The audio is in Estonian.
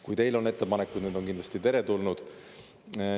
Kui teil on ettepanekuid, on need kindlasti teretulnud.